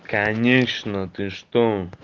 конечно ты что